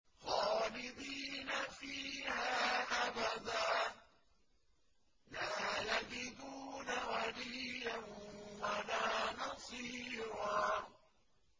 خَالِدِينَ فِيهَا أَبَدًا ۖ لَّا يَجِدُونَ وَلِيًّا وَلَا نَصِيرًا